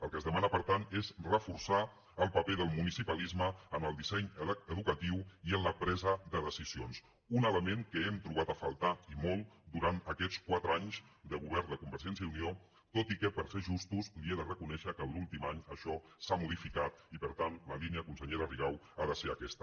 el que es demana per tant és reforçar el paper del municipalisme en el disseny educatiu i en la presa de decisions un element que hem trobat a faltar i molt durant aquests quatre anys de govern de convergència i unió tot i que per ser justos li he de reconèixer que l’últim any això s’ha modificat i per tant la línia consellera rigau ha de ser aquesta